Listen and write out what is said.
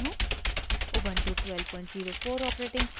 Ubuntu 1204 operating system